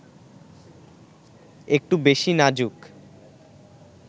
একটু বেশি নাজুক